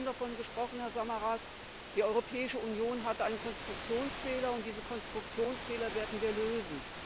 Sie haben vorhin davon gesprochen, Herr Samaras Die Europäische Union hatte einen Konstruktionsfehler, und diesen Konstruktionsfehler werden wir lösen.